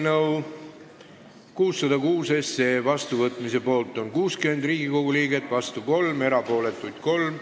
Hääletustulemused Eelnõu 606 vastuvõtmise poolt on 60 Riigikogu liiget, vastu 3, erapooletuid 3.